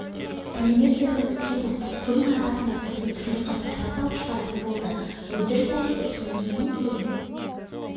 полимер цехін іске қостық соның арқасында тұзды түрлі қаптарға салып шығаратын болды өндіріс аясы кеңейгеннен кейін